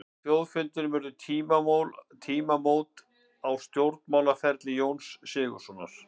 Á þjóðfundinum urðu tímamót á stjórnmálaferli Jóns Sigurðssonar.